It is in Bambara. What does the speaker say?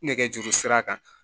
Nɛgɛjuru sira kan